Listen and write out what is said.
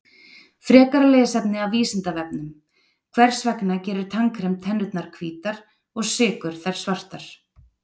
Frekara lesefni af Vísindavefnum: Hvers vegna gerir tannkrem tennurnar hvítar og sykur þær svartar?